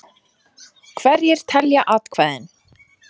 Hverjir telja atkvæðin?